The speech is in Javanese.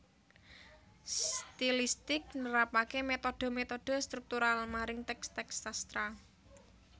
Stilistik nerapaké metode metode struktural maring teks teks sastra